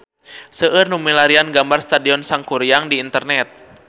Seueur nu milarian gambar Stadion Sangkuriang di internet